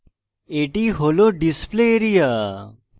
এটি হল display area